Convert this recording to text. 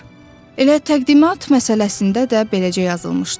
Elə təqdimat məsələsində də beləcə yazılmışdı.